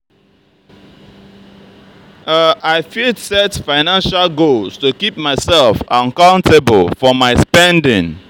i fit set financial goals to to keep myself accountable for my spending.